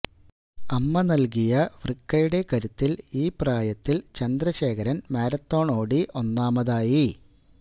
അമ്മ നല്കിയ വൃക്കയുടെ കരുത്തില് ഈ പ്രായത്തില് ചന്ദ്രശേഖരന് മാരത്തണ് ഓടി ഒന്നാമതായി